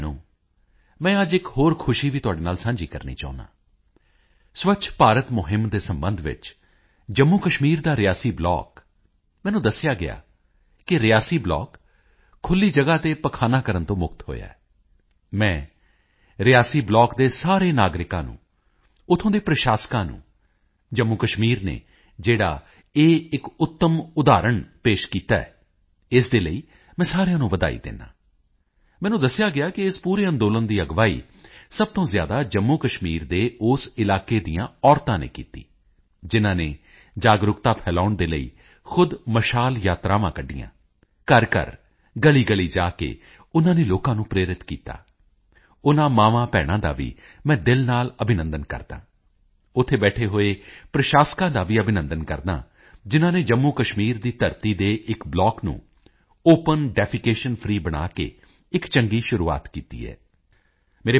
ਭਰਾਵੋ ਅਤੇ ਭੈਣੋ ਅੱਜ ਮੈਂ ਇੱਕ ਹੋਰ ਖੁਸ਼ੀ ਵੀ ਤੁਹਾਡੇ ਨਾਲ ਸਾਂਝੀ ਕਰਨਾ ਚਾਹੁੰਦਾ ਹਾਂ ਸਵੱਛ ਭਾਰਤ ਮੁਹਿੰਮ ਦੇ ਸਬੰਧ ਵਿੱਚ ਜੰਮੂਕਸ਼ਮੀਰ ਦਾ ਰਿਆਸੀ ਬਲਾਕ ਮੈਨੂੰ ਦੱਸਿਆ ਗਿਆ ਕਿ ਰਿਆਸੀ ਬਲਾਕ ਖੁੱਲੀ ਜਗਾ ਤੇ ਪਖਾਨਾ ਕਰਨ ਤੋਂ ਮੁਕਤ ਹੋਇਆ ਹੈ ਮੈਂ ਰਿਆਸੀ ਬਲਾਕ ਦੇ ਸਾਰੇ ਨਾਗਰਿਕਾਂ ਨੂੰ ਉੱਥੋਂ ਦੇ ਪ੍ਰਸ਼ਾਸਨਾਂ ਨੂੰ ਜੰਮੂਕਸ਼ਮੀਰ ਨੇ ਜਿਹੜਾ ਇੱਕ ਉੱਤਮ ਉਦਾਹਰਣ ਪੇਸ਼ ਕੀਤਾ ਹੈ ਇਸ ਦੇ ਲਈ ਮੈਂ ਸਾਰਿਆਂ ਨੂੰ ਵਧਾਈ ਦਿੰਦਾ ਹਾਂ ਮੈਨੂੰ ਦੱਸਿਆ ਗਿਆ ਕਿ ਇਸ ਪੂਰੇ ਅੰਦੋਲਨ ਦੀ ਅਗਵਾਈ ਸਭ ਤੋਂ ਜ਼ਿਆਦਾ ਜੰਮੂਕਸ਼ਮੀਰ ਦੇ ਉਸ ਇਲਾਕੇ ਦੀਆਂ ਔਰਤਾਂ ਨੇ ਕੀਤੀ ਜਿਨਾਂ ਨੇ ਜਾਗਰੂਕਤਾ ਫੈਲਾਉਣ ਦੇ ਲਈ ਖੁਦ ਮਸ਼ਾਲ ਯਾਤਰਾਵਾਂ ਕੱਢੀਆਂ ਘਰਘਰ ਗਲੀਗਲੀ ਜਾ ਕੇ ਉਨਾਂ ਨੇ ਲੋਕਾਂ ਨੂੰ ਪ੍ਰੇਰਿਤ ਕੀਤਾ ਉਨਾਂ ਮਾਵਾਂਭੈਣਾਂ ਦਾ ਵੀ ਮੈਂ ਦਿਲ ਨਾਲ ਅਭਿਨੰਦਨ ਕਰਦਾ ਹਾਂ ਉੱਥੇ ਬੈਠੇ ਹੋਏ ਪ੍ਰਸ਼ਾਸਨਾਂ ਦਾ ਵੀ ਅਭਿਨੰਦਨ ਕਰਦਾ ਹਾਂ ਜਿਨਾਂ ਨੇ ਜੰਮੂਕਸ਼ਮੀਰ ਦੀ ਧਰਤੀ ਤੇ ਇੱਕ ਬਲਾਕ ਨੂੰ ਓਪਨ ਡਿਫੈਕੇਸ਼ਨ ਫ੍ਰੀ ਬਣਾ ਕੇ ਇੱਕ ਚੰਗੀ ਸ਼ੁਰੂਆਤ ਕੀਤੀ ਹੈ